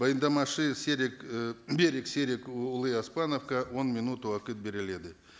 баяндамашы серік і берік серікұлы оспановқа он минут уақыт беріледі